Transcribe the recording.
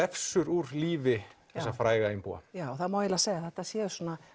glefsur úr lífi þessa fræga einbúa það má eiginlega segja að þetta séu